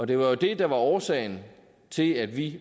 det var jo det der var årsagen til at vi